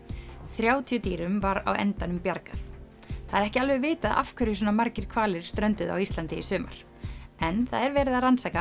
þrjátíu dýrum var á endanum bjargað það er ekki alveg vitað af hverju svona margir hvalir strönduðu á Íslandi í sumar en verið er að rannsaka